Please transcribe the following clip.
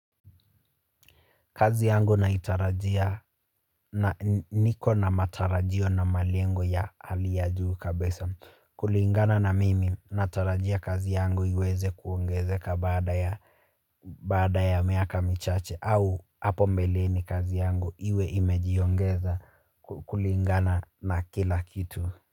Kazi yangu naitarajia niko na matarajio na malengo ya hali ya juu kabisa kulingana na mimi natarajia kazi yangu iweze kuongezeka baada ya baada ya miaka michache au hapo mbelini kazi yangu iwe imejiongeza kulingana na kila kitu.